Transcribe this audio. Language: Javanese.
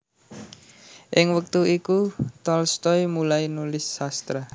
Ing wektu iku Tolstoy mulai nulis sastra